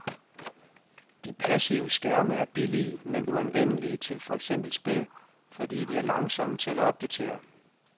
De passive skærme er billige men uanvendelige til for eksempel spil, fordi de er langsomme til at opdatere.